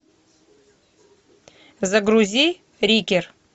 загрузи рикер